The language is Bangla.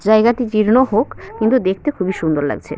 জায়গাটি জীর্ণ হোক কিন্তু দেখতে খুবই সুন্দর লাগছে ।